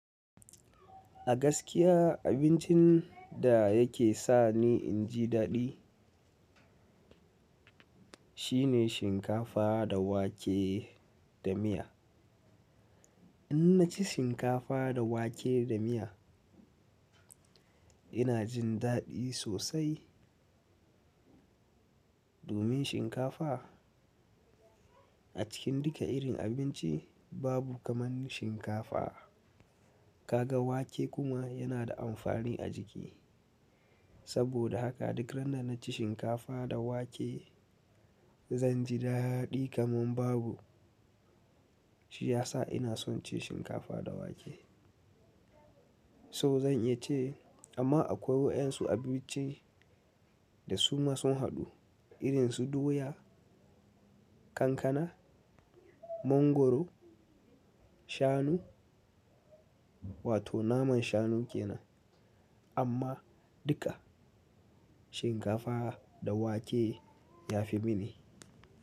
A gaskiya abincin da yake sani inji daɗi shine shinkafa da wake da miya. In naci shinkafa da wake da miya ina jin daɗi sosai. Domin shinkafa a cikin duka irin abinci babu kaman shinkafa. Kaga wake kuma yana da amfani a jiki. Saboda haka duk randa naci shinkafa da wake zanjidaɗi kaman babu. Shi yasa ina son cin shinkafa da wake. So zan iya ce amma akwai wadansu abinci da suma sun haɗu irin su doya, kankana, mongoro, shanu wato naman shanu kenan amma duka shinkafa da wake ya fi mini.